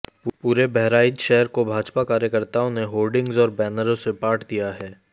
पूरे बहराइच शहर को भाजपा कार्यकर्ताओं ने होर्डिंग्स और बैनरों से पाट दिया है